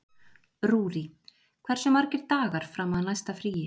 Rúrí, hversu margir dagar fram að næsta fríi?